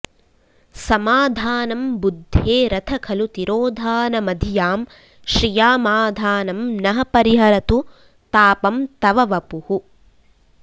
समाधानं बुद्धेरथ खलु तिरोधानमधियां श्रियामाधानं नः परिहरतु तापं तव वपुः